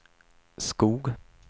Skog